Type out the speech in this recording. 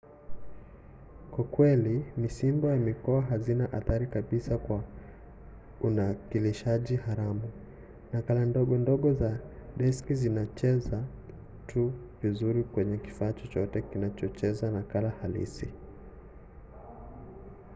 kwa kweli misimbo ya mikoa hazina athari kabisa kwa unakilishaji haramu; nakala ndogo ndogo za diski zitacheza tu vizuri kwenye kifaa chochote kinachocheza nakala halisi